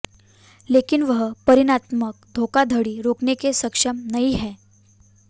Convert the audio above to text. लेकिन वह परिणामात्मक धोखाधड़ी रोकने के सक्षम नहीं है